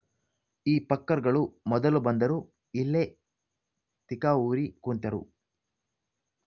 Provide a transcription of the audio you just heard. ಈ ಫಕ್ಕರ್‌ ಗಳು ಮೊದಲು ಬಂದರು ಇಲ್ಲೆ ತಿಕಾ ಊರಿ ಕುಂತರು